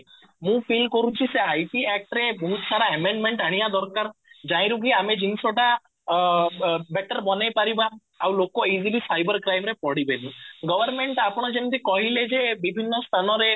ମୁଁ feel କରୁଛି ସେ IT act ରେ ବହୁତ ସାରା amendment ଆଣିବା ଦରକାର ରୁ କି ଆମେ ଜିନିଷ ଟା ଅଂ better ବନେଇପାରିବା ଆଉ ଲୋକ easily ସାଇବର କ୍ରାଇମରେ ପଡିବେନି government ଆପଣ ଯେମିତି କହିଲେ ଯେ ବିଭିନ୍ନ ସ୍ଥାନ ରେ